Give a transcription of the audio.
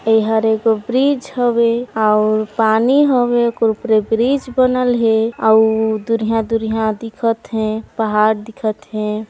एहर एक ब्रिज हवे अउर पानी हवे ओकरे उपरे ब्रिज बनल हे और दूरियाँ-दूरियाँ दिखत हे पहाड़ दिखत हे।